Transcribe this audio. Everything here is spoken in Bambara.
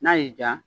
N'a y'i diya